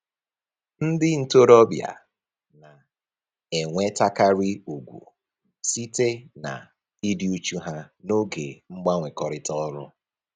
Ndị ntoroọbịa na-enwetakarị ugwu site na-ịdị uchu ha n'oge mgbanwekọrịta ọrụ